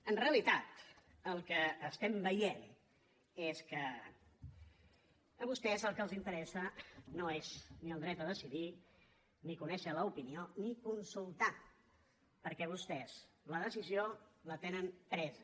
en realitat el que veiem és que a vostès el que els interessa no és ni el dret a decidir ni conèixer l’opinió ni consultar perquè vostès la decisió la tenen presa